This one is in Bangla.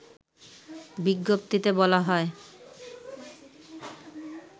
বিজ্ঞপ্তিতে বলা হয়